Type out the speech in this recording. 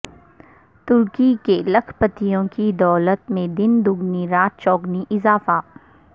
ترکی کے لاکھ پتیوں کی دولت میں دن دگنی رات چوگنی اضافہ